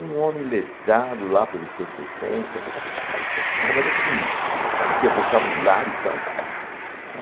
Um homem letrado lá pelos seus sessenta... Cara, mas assim, sabe o que é vocabulário e tal?